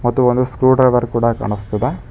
ಇದು ಒಂದು screwdriver ಕೂಡ ಕಾಣಸ್ತಿದೆ.